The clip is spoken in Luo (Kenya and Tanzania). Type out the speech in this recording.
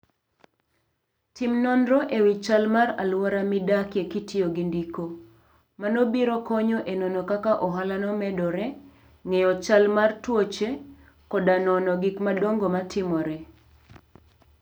Tim nonro e wi chal mar alwora midakie kitiyo gi ndiko. Mano biro konyo e nono kaka ohalano medore, ng'eyo chal mar tuoche, koda nono gik madongo matimore.